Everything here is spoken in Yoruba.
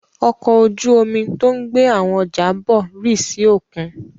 Ọkọ̀ ojú-omi tó ń gbé àwọn ọjà bọ̀ rì sí òkun?